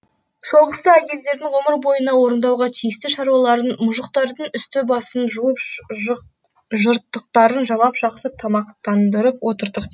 соғыста әйелдердің ғұмыр бойына орындауға тиісті шаруаларын мұжықтардың үсті басын жуып жыртықтарын жамап жақсы тамақтандырып отырдық